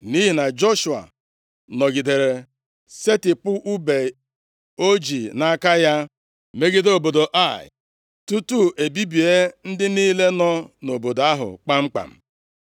Nʼihi na Joshua nọgidere setịpụ ùbe o ji nʼaka ya, megide obodo Ai, tutu e bibie ndị niile nọ nʼobodo ahụ kpamkpam.